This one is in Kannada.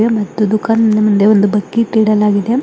ಮತ್ತು ದುಃಖಾನ್ನಾ ಮುಂದೆ ಒಂದು ಬಕೆಟ್ ಇಡಲಾಗಿದೆ.